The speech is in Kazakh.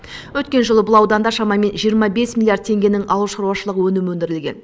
өткен жылы бұл ауданда шамамен жиырма бес миллиард теңгенің ауылшаруашылық өнімі өндірілген